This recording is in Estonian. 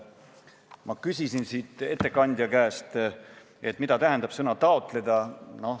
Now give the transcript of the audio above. Ma küsisin ettekandja käest, mida tähendab sõna "taotleda".